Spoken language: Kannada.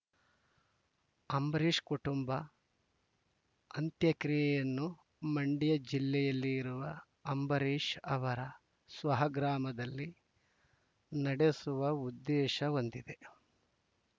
ಅಂಬರೀಷ್‌ ಕುಟುಂಬ ಅಂತ್ಯಕ್ರಿಯೆಯನ್ನು ಮಂಡ್ಯ ಜಿಲ್ಲೆಯಲ್ಲಿರುವ ಅಂಬರೀಷ್‌ ಅವರ ಸ್ವಹ ಗ್ರಾಮದಲ್ಲಿ ನಡೆಸುವ ಉದ್ದೇಶ ಹೊಂದಿದೆ